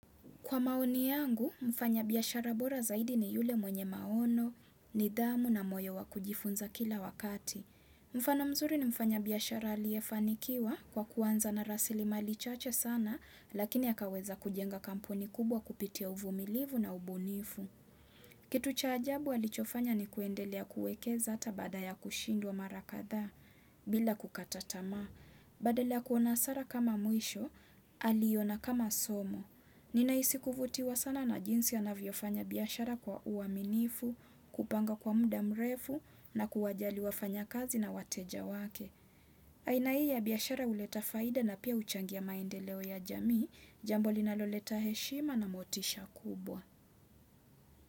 Kwa maoni yangu, mfanya biyashara bora zaidi ni yule mwenye maono, nidhamu na moyo wakujifunza kila wakati. Mfano mzuri ni mfanya biyashara aliyefanikiwa kwa kuanza na rasilimali chache sana, lakini akaweza kujenga kampuni kubwa kupitia uvumilivu na ubunifu. Kitu cha ajabu alichofanya ni kuendelea kuwekeza hata baada ya kushindwa mara kadhaa bila kukata tamaa. Badala ya kuona hasara kama mwisho, aliona kama somo. Ninahisi kuvutiwa sana na jinsi anavyofanya biyashara kwa uaminifu, kupanga kwa muda mrefu na kuwajali wafanya kazi na wateja wake. Aina hii ya biashara huleta faida na pia uchangia maendeleo ya jamii, jambo linaloleta heshima na motisha kubwa.